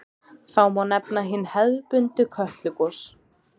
Þá má nefna hin hefðbundnu Kötlugos.